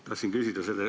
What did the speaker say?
Tahtsin küsida.